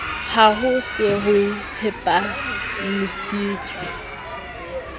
ha ho se ho tsepamisitswe